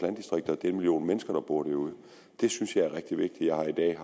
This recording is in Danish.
landdistrikter og den million mennesker der bor derude det synes jeg er rigtig vigtigt jeg har i dag